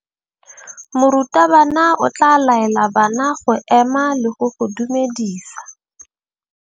Morutabana o tla laela bana go ema le go go dumedisa.